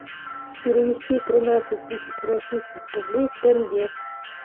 перевести тринадцать тысяч российских рублей в тенге